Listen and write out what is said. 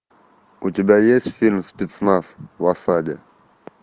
у тебя есть фильм спецназ в осаде